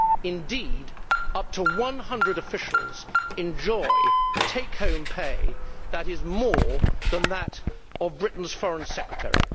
Indeed, up to one hundred officials enjoy take home pay that is more than that of Britain's Foreign Secretary.